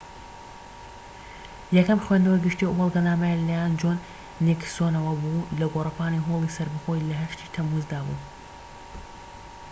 یەکەم خوێندنەوەی گشتی ئەو بەڵگەنامەیە لەلایەن جۆن نیکسۆنەوە بوو لە گۆڕەپانی هۆڵی سەربەخۆیی لە 8 ی تەمموزدا بوو‎